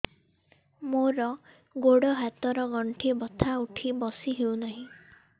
ମୋର ଗୋଡ଼ ହାତ ର ଗଣ୍ଠି ବଥା ଉଠି ବସି ହେଉନାହିଁ